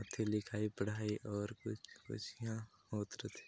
--ओथे लिखाई पढ़ाई और कुछ- कुछ इहा होत रथे।